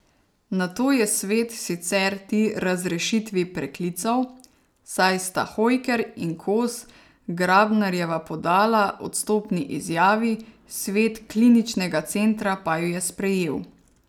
Nato je svet sicer ti razrešitvi preklical, saj sta Hojker in Kos Grabnarjeva podala odstopni izjavi, svet kliničnega centra pa ju je sprejel.